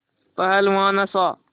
पहलवान हँसा